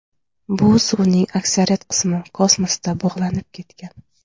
Bu suvning aksariyat qismi kosmosda bug‘lanib ketgan.